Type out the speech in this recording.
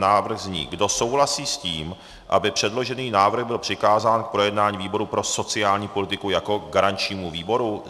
Návrh zní: kdo souhlasí s tím, aby předložený návrh byl přikázán k projednání výboru pro sociální politiku jako garančnímu výboru?